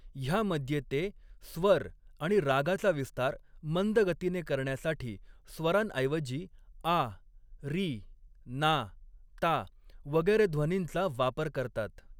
ह्यामध्ये ते, स्वर आणि रागाचा विस्तार मंद गतीने करण्यासाठी स्वरांऐवजी आ, री, ना, ता, वगैरे ध्वनींचा वापर करतात.